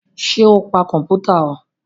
Sọ pa kọ̀mpútà o?